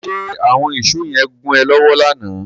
Ṣe àwọn ìsó yẹn gún ẹ lọ́wọ́ lánàá?